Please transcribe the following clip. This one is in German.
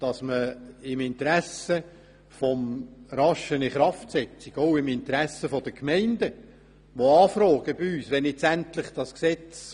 Im Interesse einer raschen Inkraftsetzung wurde vorgeschlagen, mit nur einer Lesung diesem Ziel zu entsprechen.